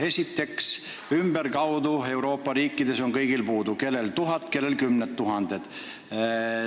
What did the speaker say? Esiteks, ümberkaudu Euroopa riikides on igal pool spetsialiste puudu, kus tuhat, kus kümneid tuhandeid.